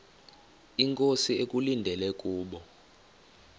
inkosi ekulindele kubo